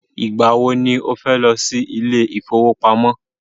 Ìgbà wọ ni o fẹ́ lọ sí ilé ìfọwọ́pamo?